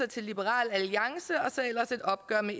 til liberal alliance og så ellers et opgør med